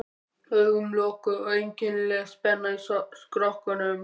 Augun lokuð og einkennileg spenna í skrokknum.